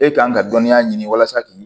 E kan ka dɔnniya ɲini walasa k'i